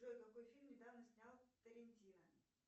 джой какой фильм недавно снял тарантино